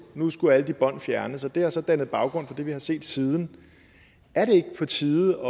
nu skulle alle de bånd fjernes og det har så dannet baggrund for det vi har set siden er det ikke på tide